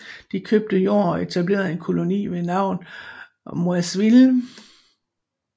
De købte jord og etablerede en koloni ved navn Moiseville